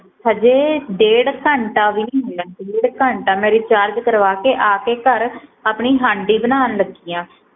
ਹਜੇ ਡੇਢ ਘੰਟਾ ਵੀ ਨਹੀ ਹੋ ਈ ਆ ਡੇਢ ਘੰਟਾ ਮੈ ਰਿਚਾਰਜ ਕਰਵਾ ਕੇ ਆ ਕੇ ਘਰ ਆਪਣੀ ਹਾਂਡੀ ਬਨਾਨ ਲਗੀ ਆ